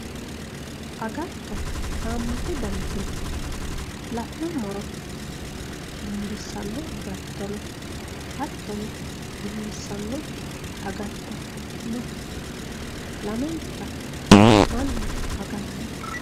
agatto haammatu daniti no la'nummoro dinbissanno agatto no hattono dinbissannokki agatto no lamenta mannu aganno.